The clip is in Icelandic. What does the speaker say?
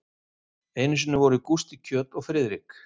Einu sinni voru Gústi kjöt og Friðrik